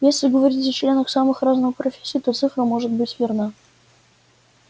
если говорить о членах самых разных профессий то цифра может быть верна